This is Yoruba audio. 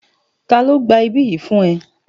Ta ló gba ibí yìí fún ẹ?